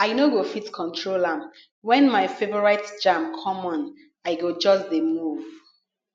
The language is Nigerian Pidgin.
i no go fit control am when my favorite jam come on i go just dey move